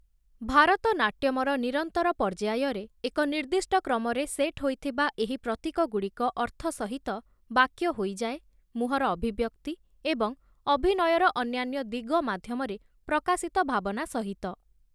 ଭାରତନାଟ୍ୟମର ନିରନ୍ତର ପର୍ଯ୍ୟାୟରେ, ଏକ ନିର୍ଦ୍ଦିଷ୍ଟ କ୍ରମରେ ସେଟ୍ ହୋଇଥିବା ଏହି ପ୍ରତୀକଗୁଡ଼ିକ ଅର୍ଥ ସହିତ ବାକ୍ୟ ହୋଇଯାଏ, ମୁହଁର ଅଭିବ୍ୟକ୍ତି ଏବଂ ଅଭିନୟାର ଅନ୍ୟାନ୍ୟ ଦିଗ ମାଧ୍ୟମରେ ପ୍ରକାଶିତ ଭାବନା ସହିତ ।